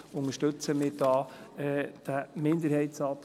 Deshalb unterstützen wir da den Minderheitsantrag.